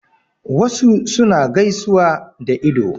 Wasu suna gaisuwa da ido.